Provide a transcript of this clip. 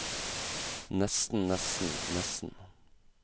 nesten nesten nesten